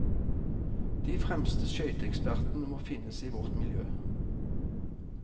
De fremste skøyteekspertene må finnes i vårt miljø.